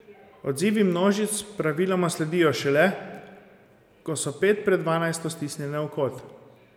Odzivi množic praviloma sledijo šele, ko so pet pred dvanajsto stisnjene v kot.